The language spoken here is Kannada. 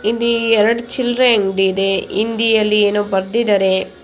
ಹಿಂದಿ ಎರಡ್ ಚಿಲ್ರೆ ಅಂಗಡಿ ಇದೆ. ಹಿಂದಿಯಲ್ಲಿ ಏನೋ ಬರೆದಿದ್ದಾರೆ. .